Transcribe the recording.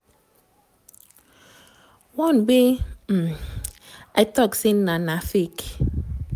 one wia um im tok say na na fake.